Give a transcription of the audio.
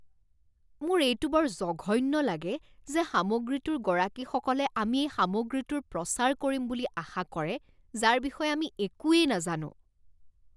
মোৰ এইটো বৰ জঘন্য লাগে যে সামগ্ৰীটোৰ গৰাকীসকলে আমি এই সামগ্ৰীটোৰ প্ৰচাৰ কৰিম বুলি আশা কৰে যাৰ বিষয়ে আমি একোৱেই নাজানো।